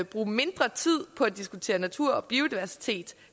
bruge mindre tid på at diskutere natur og biodiversitet